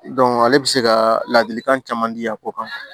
ale bɛ se ka ladilikan caman di a ko kan